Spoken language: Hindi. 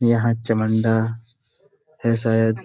यहां चामुंडा है शायद।